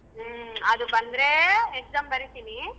ಹ್ಮ ಅದು ಬಂದರೇ exam ಬರೀತಿನಿ.